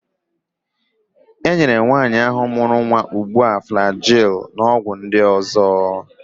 E nyere nwaanyi ahụ mụrụ nwa ugbu a Flagil na ọgwụ ndị ọzọ.